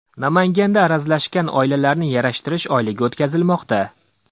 Namanganda arazlashgan oilalarni yarashtirish oyligi o‘tkazilmoqda.